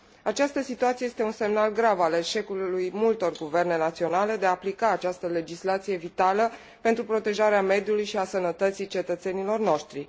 Această situație este un semnal grav al eșecului multor guverne naționale de a aplica această legislație vitală pentru protejarea mediului și a sănătății cetățenilor noștri.